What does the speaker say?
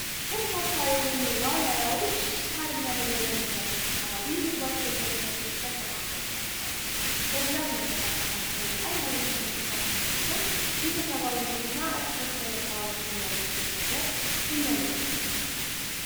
በርካታ የሆኑ ዋልያዎች ሳር እና ድንጋይ በሞላበት አካባቢ ምግባቸዉን ለመፈለግ ተሰማርተው እናያቸዋለን ::በብዛት መንቀሳቀሳቸው አንዳይነትም እንስሳት መሆናቸው ቤተሰባዊነት እና እርስበእርስ ለመጠባበቅ የሚያደርጉትን ነገር የሚያመለክት ነው ::